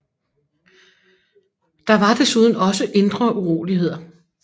Der var desuden også indre uroligheder